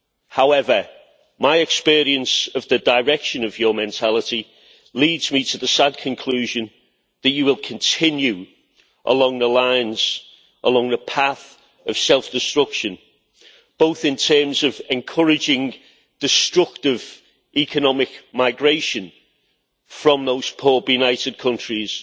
However, my experience of the direction of your mentality leads me to the sad conclusion that you will continue along the path of self destruction, both in terms of encouraging destructive economic migration from those poor benighted countries